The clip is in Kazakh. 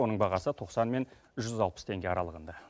оның бағасы тоқсан мен жүз алпыс теңге аралығында